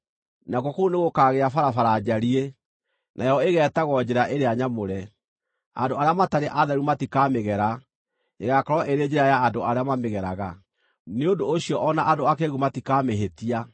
Nakuo kũu nĩgũkagĩa barabara njariĩ; nayo ĩgeetagwo Njĩra ĩrĩa Nyamũre. Andũ arĩa matarĩ atheru matikamĩgera; ĩgaakorwo ĩrĩ Njĩra ya andũ arĩa mamĩgeraga; nĩ ũndũ ũcio o na andũ akĩĩgu matikamĩhĩtia.